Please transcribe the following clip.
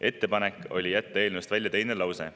Ettepanek oli jätta eelnõust välja teine lause.